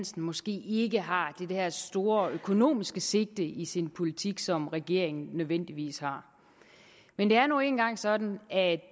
måske ikke har det der store økonomiske sigte i sin politik som regeringen nødvendigvis har men det er nu engang sådan at